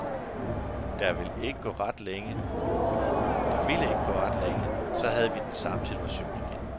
Der ville ikke gå ret længe, så havde vi den samme situation igen.